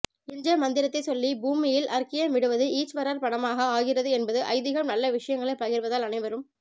என்ற மந்திரத்தை சொல்லி பூமியில் அர்க்கியம் விடுவது ஈச்வரார்ப்பனமாக ஆகிறது என்பதும் ஐதீஹம் நல்ல விஷயங்களை பகிர்வதால் அனைவரும்